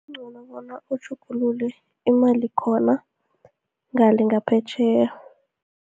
Kuncono bona utjhugulule, imali khona, ngale ngaphetjheya.